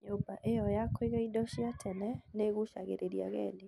Nyũmba ĩyo ya kũiga indo cia tene nĩ ĩgucagĩrĩria agendi.